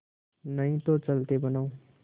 नहीं तो चलते बनो